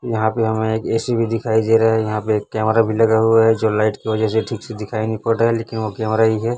यहां पे हमें एक ए_सी भी दिखाई दे रहा है यहां पे एक कैमरा भी लगा हुआ है जो लाइट की वजह से ठीक से दिखाई नहीं पड़ रहा लेकिन वह कैमरा ही है।